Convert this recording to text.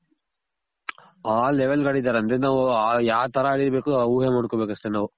ಆ level ಗ್ ಆಡಿದಾರೆ ಅಂದ್ರೆ ನಾವ್ ಯಾ ತರ ಇರ್ಬೇಕು. ಊಹೆ ಮಾಡ್ಕೊಬೇಕು ಅಷ್ಟೆ ನಾವು.